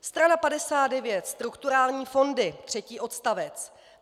Strana 59, strukturální fondy, třetí odstavec.